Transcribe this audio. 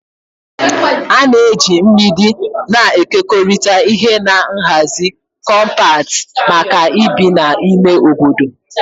A na-eji mgbidi na-ekekọrịta ihe na nhazi kọmpat maka ibi na ime obodo.